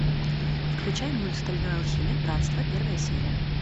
включай мульт стальной алхимик братство первая серия